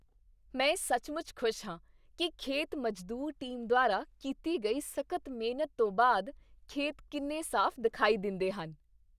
ਮੈਂ ਸੱਚਮੁੱਚ ਖ਼ੁਸ਼ ਹਾਂ ਕਿ ਖੇਤ ਮਜ਼ਦੂਰ ਟੀਮ ਦੁਆਰਾ ਕੀਤੀ ਗਈ ਸਖ਼ਤ ਮਿਹਨਤ ਤੋਂ ਬਾਅਦ ਖੇਤ ਕਿੰਨੇ ਸਾਫ਼ ਦਿਖਾਈ ਦਿੰਦੇ ਹਨ।